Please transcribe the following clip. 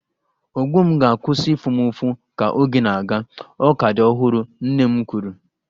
Ogbo m ga-akwụsị ịfụ m ụfụ ka oge na-aga, ọ ka dị ọhụrụ, nne m kwuru